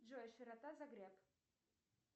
джой широта загреб